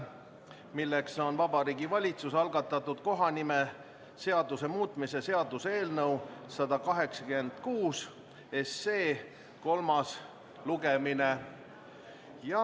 See on Vabariigi Valitsuse algatatud kohanimeseaduse muutmise seaduse eelnõu 186 kolmas lugemine.